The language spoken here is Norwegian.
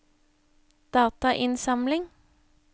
datainnsamling